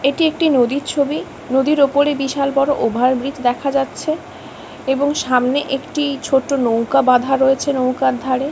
এটি একটি নদীর ছবি নদীর ওপরে বিশাল বড় ওভারব্রিজ দেখা যাচ্ছে এবং সামনে একটি ছোট নৌকা বাঁধা রয়েছে নৌকার ধারে--